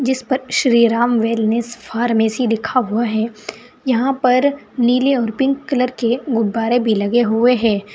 इस पर Shriram wellness pharmacy लिखा हुआ है यहां पर नीले और पिंक कलर के गुब्बारे भी लगे हुए हैं।